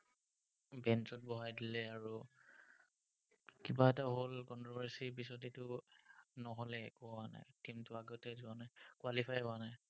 bench ত বহাই দিলে আৰু কিবা এটা হ'ল controversy পিছত এইটো নহ'লে একো হোৱা নাই। কিন্তু, আগতে যোৱা নাই। qualify হোৱা নাই।